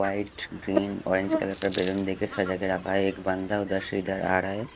White green orange colour का balloon देके सजा के रखा है एक बंदा उधर से इधर आड़ा है।